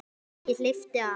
Ég hleypti af.